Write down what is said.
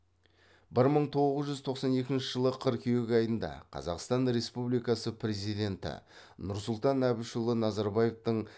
бір мың тоғыз жүз тоқсан екінші жылы қырқүйек айында қазақстан республикасы президенті нұрсұлтан әбішұлы назарбаевтың